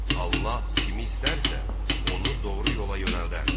Allah kimi istərsə, onu doğru yola yönəldər.